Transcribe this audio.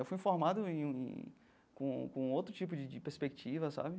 Eu fui formado em com com outro tipo de perspectiva, sabe?